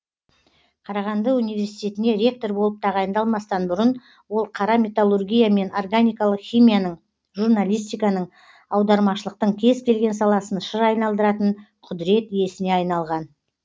қарағанды университетіне ректор болып тағайындалмастан бұрын ол қара металлургия мен органикалық химияның журналистиканың аудармашылықтың кез келген саласын шыр айналдыратын құдірет иесіне айналған